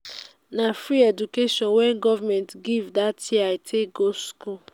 na free education wey government give dat year i take go skool.